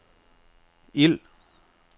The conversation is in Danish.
ild